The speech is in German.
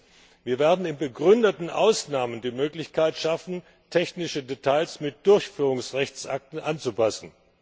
Drittens Wir werden in begründeten Ausnahmen die Möglichkeit schaffen, technische Details mit Durchführungsrechtsakten anzupassen.